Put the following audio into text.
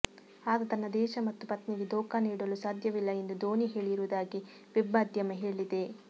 ಆತ ತನ್ನ ದೇಶ ಮತ್ತು ಪತ್ನಿಗೆ ದೋಖಾ ನೀಡಲು ಸಾಧ್ಯವಿಲ್ಲ ಎಂದು ಧೋನಿ ಹೇಳಿರುವುದಾಗಿ ವೆಬ್ ಮಾಧ್ಯಮ ಹೇಳಿದೆ